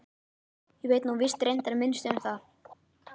Ég veit nú víst reyndar minnst um það.